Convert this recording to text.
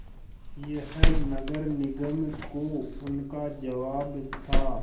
यह नगर निगम को उनका जवाब था